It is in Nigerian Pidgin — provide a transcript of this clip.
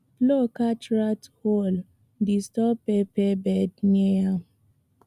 plow catch rat hole disturb pepper bed near am